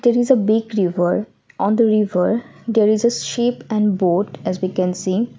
there is a big river on the river there is a ship and boat as we can see.